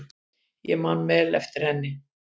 Ég man vel eftir henni.